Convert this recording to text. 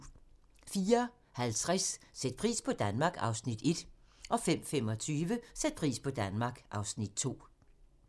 04:50: Sæt pris på Danmark (Afs. 1) 05:25: Sæt pris på Danmark (Afs. 2)